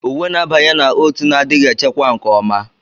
Uwe na-abanye na oat na-adịghị echekwa nke ọma.